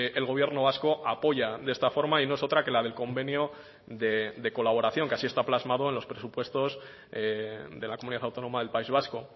el gobierno vasco apoya de esta forma y no es otra que la del convenio de colaboración que así está plasmado en los presupuestos de la comunidad autónoma del país vasco